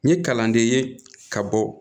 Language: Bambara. N ye kalanden ye ka bɔ